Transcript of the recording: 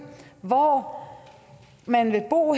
hvor man vil bo